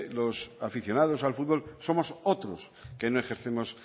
los aficionados al fútbol somos otros que no ejercemos